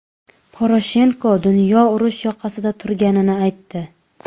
Poroshenko dunyo urush yoqasida turganini aytdi.